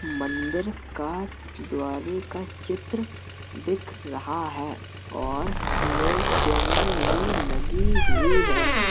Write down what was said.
मंदिर का द्वारे का चित्र दिख रहा है और इसमें चैनल भी लगी हुई है।